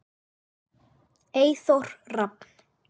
Eyþór Rafn.